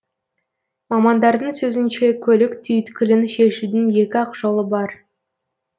мамандардың сөзінше көлік түйткілін шешудің екі ақ жолы бар